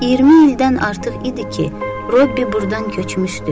20 ildən artıq idi ki, Robbi burdan köçmüşdü.